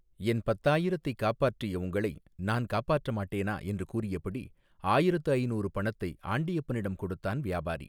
என் பத்தாயிரத்தை காப்பாற்றிய உங்களை நான் காப்பாற்ற மாட்டேனா என்று கூறியபடி ஆயிரத்து ஐநூறு பணத்தை ஆண்டியப்பனிடம் கொடுத்தான் வியாபாரி.